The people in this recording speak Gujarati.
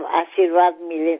આપના આશીર્વાદ મળે તો